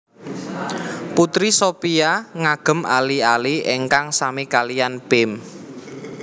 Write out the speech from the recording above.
Putri Shopia ngagem ali ali ingkang sami kaliyan Pim